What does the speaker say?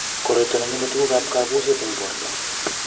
koroitabnengeme tunguk ab kabuset eng borto